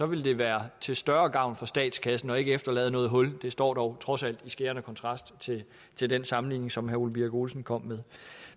ville det være til større gavn for statskassen og ikke efterlade noget hul det står dog trods alt i skærende kontrast til den sammenligning som herre ole birk olesen kom med